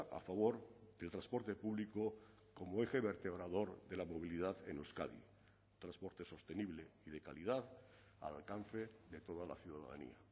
a favor del transporte público como eje vertebrador de la movilidad en euskadi transporte sostenible y de calidad al alcance de toda la ciudadanía